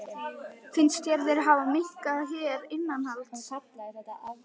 Finnst þér þeir hafa minnkað hér innanlands?